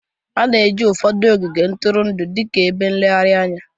A na-eji ụfọdụ ogige ntụrụndụ dị ka ebe nlegharị anya